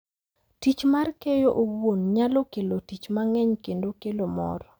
Tich mar keyo owuon nyalo kelo tich mang’eny kendo kelo mor,